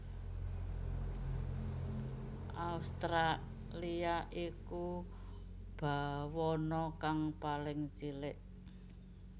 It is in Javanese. Australia iku bawana kang paling cilik